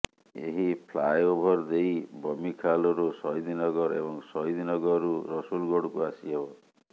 ଏହି ଫ୍ଲାଏଓଭର ଦେଇ ବମିଖାଲରୁ ସହିଦନଗର ଏବଂ ସହିଦନଗରରୁ ରସୁଲଗଡକୁ ଆସି ହେବ